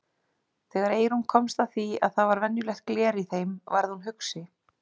Þegar Eyrún komst að því að það var venjulegt gler í þeim varð hún hugsi.